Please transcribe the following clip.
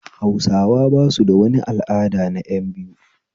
Hausawa basu da wani al'ada na ƴan biyu